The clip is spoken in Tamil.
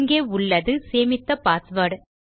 இங்கே உள்ளது சேமித்த பாஸ்வேர்ட்